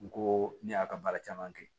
N ko ne y'a ka baara caman kɛ